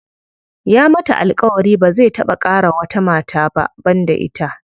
Ya mata alƙawari ba zai taɓa ƙara wata mata ba banda ita.